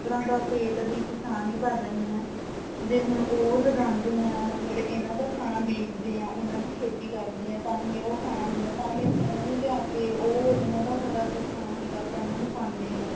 ਜਾਨਵਰਾਂ ਦੇ ਪੇਟ ਵੀ ਕਿਸਾਨ ਹੀ ਭਰ ਰਹੇ ਆਂ ਜੇ ਹੁਣ ਉਹ ਲਗਾਉਂਦੇ ਆ ਮਤਲਬ ਇਹਨਾ ਦਾ ਖਾਣਾ ਬੀਜਦੇ ਆ ਉਹਨਾ ਦੀ ਖੇਤੀ ਕਰਦੇ ਹਾਂ ਤਾਂਹੀ ਉਹ ਖਾਣਾ ਹੁੰਦਾ ਤਾਂਹੀ ਆਪਾਂ ਇਹਨਾ ਨੂੰ ਲਿਆ ਕੇ ਉਹ ਇਹਨਾ ਦਾ ਹਰਾ ਜੋ ਖਾਣਾ ਹੁੰਦਾ ਆਪਾਂ ਇਹਨਾ ਨੂੰ ਪਾਉਂਦੇ ਹਾਂ